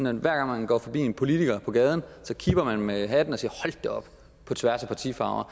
at hver gang man går forbi en politiker på gaden kipper man med hatten på tværs af partifarve og